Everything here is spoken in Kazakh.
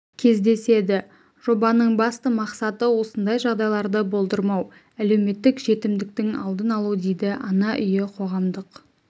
кездеседі жобаның басты мақсаты осындай жағдайларды болдырмау әлеуметтік жетімдіктің алдын алу дейді ана үйі қоғамдық